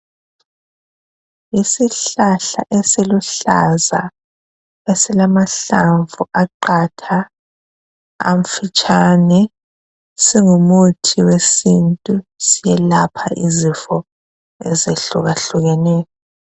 Isihlahla esiluhlaza esilamahlamvu aqatha amfitshane singumuthi wesintu selapha izifo ezihlukahlukeneyo.